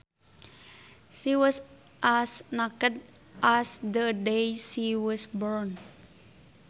She was as naked as the day she was born